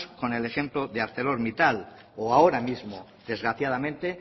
con el ejemplo de arcelormittal o ahora mismo desgraciadamente